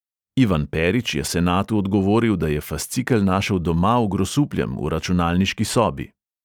Ivan perić je senatu odgovoril, da je fascikel našel doma v grosupljem v računalniški sobi.